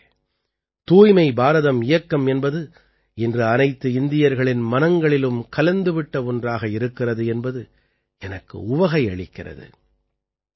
நண்பர்களே தூய்மை பாரதம் இயக்கம் என்பது இன்று அனைத்து இந்தியர்களின் மனங்களிலும் கலந்து விட்ட ஒன்றாகி இருக்கிறது என்பது எனக்கு உவகை அளிக்கிறது